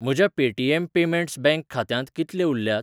म्हज्या Paytm payments bank खात्यांत कितले उरल्यात?